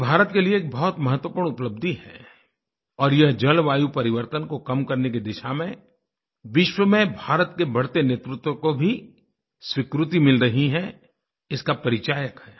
यह भारत के लिए एक बहुत महत्वपूर्ण उपलब्धि है और यह जलवायु परिवर्तन को कम करने की दिशा में विश्व में भारत के बढ़ते नेतृत्व को भी स्वीकृति मिल रही है इसका परिचायक है